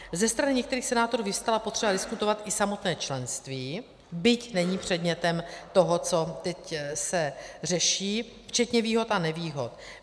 Ze strany některých senátorů vyvstala potřeba diskutovat i samotné členství, byť není předmětem toho, co teď se řeší, včetně výhod a nevýhod.